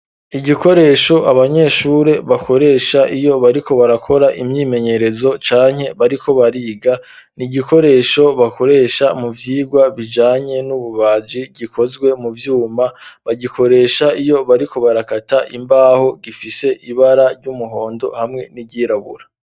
Igikoresho abanyeshuri bakoresha iyo bariko barakora imyimenyerezo canke bariko bariga, ni igikoresho bakoresha mu vyigwa bijanye n'ububaji gikozwe mu vyuma, bagikoresha iyo bariko barakata imbaho gifise ibara ry'umuhondo hamwe n'iryirabura.